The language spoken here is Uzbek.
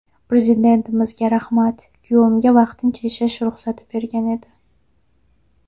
Prezidentimizga rahmat, kuyovimga vaqtincha yashash ruxsati bergan edi.